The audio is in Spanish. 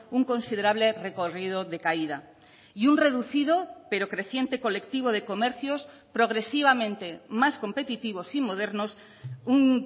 un considerable recorrido de caída y un reducido pero creciente colectivo de comercios progresivamente más competitivos y modernos un